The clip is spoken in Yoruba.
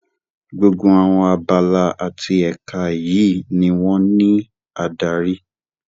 Gbogbo àwọn abala àti èka yìí ni wón ní adarí.